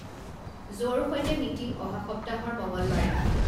জ'ৰ সৈতে মিটিং অহা সপ্তাহৰ মঙলবাৰে